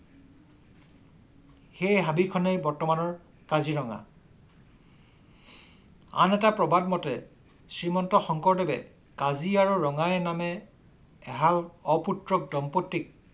সেই হাবিখনেই বৰ্তমানৰ কাজিৰঙা। আন‌ এটা প্ৰবাদ মতে শ্ৰীমন্ত শংকৰদেৱে কাজি আৰু ৰঙাই নামে এহাল অপুত্ৰক দম্পতীক